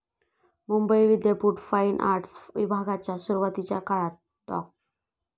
मुंबई विद्यापीठ fine arts विभागाच्या सुरुवातीच्या काळात डॉ.